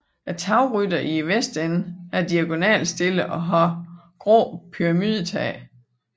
Tagrytteren i vestenden er diagonalt stillet og har gråt pyramidetag